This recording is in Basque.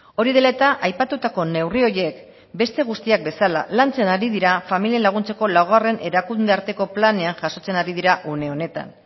hori dela eta aipatutako neurri horiek beste guztiak bezala lantzen ari dira familiei laguntzeko laugarren erakunde arteko planean jasotzen ari dira une horretan